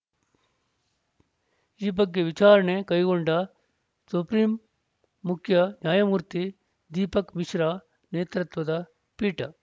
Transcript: ಈ ಬಗ್ಗೆ ವಿಚಾರಣೆ ಕೈಗೊಂಡ ಸುಪ್ರೀಂ ಮುಖ್ಯ ನ್ಯಾಯಮೂರ್ತಿ ದೀಪಕ್‌ ಮಿಶ್ರಾ ನೇತೃತ್ವದ ಪೀಠ